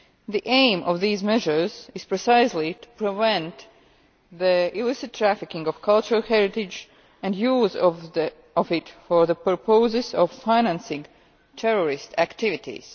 The aim of these measures is precisely to prevent the illicit trafficking of cultural heritage and the use of it for the purposes of financing terrorist activities.